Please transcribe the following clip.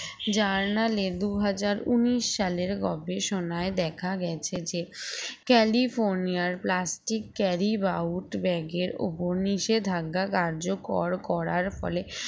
journal এ দুই হাজার উনিশ সালের গবেষণায় দেখা গেছে যে ক্যালিফোর্নিয়ার plastic carry bout bag এর উপর নিষেধাজ্ঞা কার্যকর করার ফলে